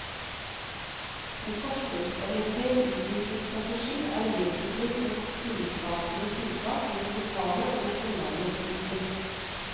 En forsøksorientert utviklingsstrategi er vesentlig som tillitsskapende tiltak mellom lokale og nasjonale eliter.